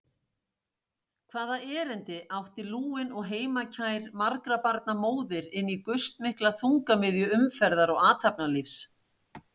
Hvaða erindi átti lúin og heimakær margra barna móðir inní gustmikla þungamiðju umferðar og athafnalífs?